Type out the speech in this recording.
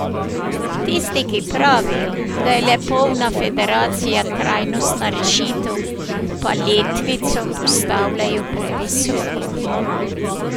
Tisti, ki pravijo, da je le polna federacija trajnostna rešitev, pa letvico postavljajo previsoko.